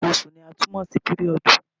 Nǹkan oṣù ni a tún mọ̀ sí píríọ̀dì.